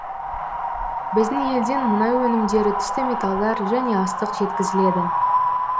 біздің елден мұнай өнімдері түсті металдар және астық жеткізіледі